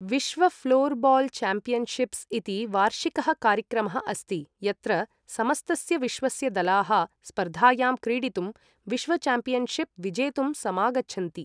विश्व floorball championships इति वार्षिकः कार्यक्रमः अस्ति, यत्र समस्तस्य विश्वस्य दलाः स्पर्धायां क्रीडितुं विश्व च्याम्पियन्शिप् विजेतुं समागच्छन्ति।